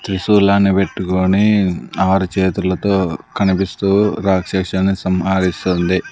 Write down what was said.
త్రిశూలాన్ని పెట్టుకొని ఆరు చేతులతో కనిపిస్తూ రాక్షసుల్ని సంహారిస్తుంది.